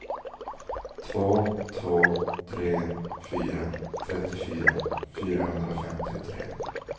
två två tre fyra trettiofyra fyrahundrafemtiotre